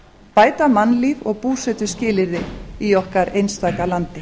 bæta mannlíf og búsetuskilyrði í okkar einstaka landi